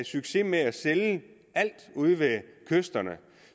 succes med at sælge alt ude ved kysterne